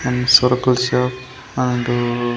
సరుకుల shop and .